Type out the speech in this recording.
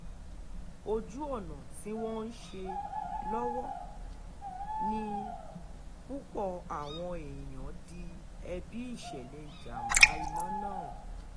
ojú ọ̀nà tí wọ́n ń ṣe lọ́wọ́ ni púpọ̀ àwọn èèyàn di ẹ̀bi ìṣẹ̀lẹ̀ ìjàm̀bá iná náà rú